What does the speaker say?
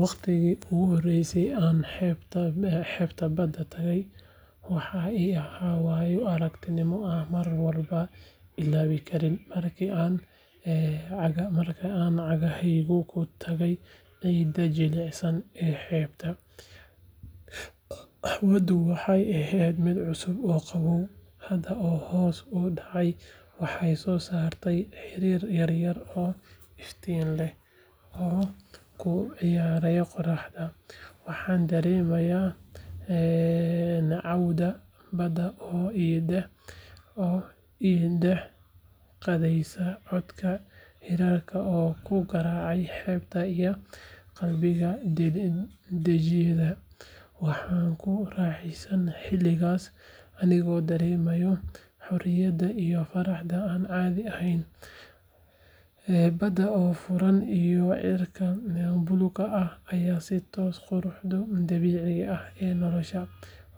Waqtigii ugu horeeyay ee aan xeebta badda tagay, waxaa ii ahaa waayo-aragnimo aan marnaba ilaawi karin. Markii aan cagahayga ku taagay ciidda jilicsan ee xeebta, hawadu waxay ahayd mid cusub oo qabow, badda oo hoos u dhacaysa waxay soo saartay hirar yaryar oo iftiin leh oo ku ciyaaraya qorraxda. Waxaan dareemay neecawda baddu oo i dhex qaadeysa, codka hirarka oo ku garaacaya xeebta ayaa qalbigayga dejiyay. Waxaan ku raaxaystay xilligaas, anigoo dareemaya xorriyadda iyo farxadda aan caadi ahayn, badda oo furan iyo cirka buluugga ah ayaa i tusay quruxda dabiiciga ah ee nolosha.